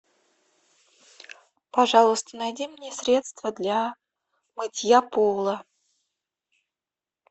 пожалуйста найди мне средство для мытья пола